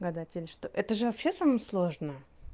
гадатель что это же вообще само сложно